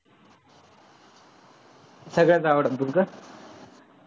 सगळ्याच आवडतात का?